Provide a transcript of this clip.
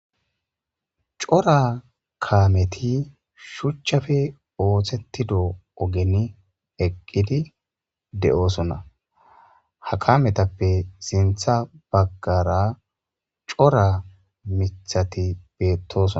cora kameti shuchchafe oohthetido ogen eqqidi de7oosona ha kametappe sintha baggara cora mithati beettoson